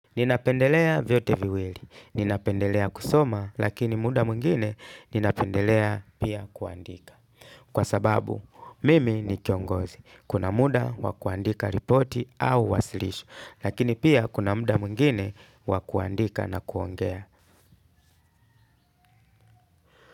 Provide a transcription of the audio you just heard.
Ninapendelea vyote viwili. Ninapendelea kusoma, lakini muda mwingine ninapendelea pia kuandika. Kwa sababu, mimi ni kiongozi. Kuna muda wa kuandika ripoti au wasilisho, lakini pia kuna muda mwingine wa kuandika na kuongea.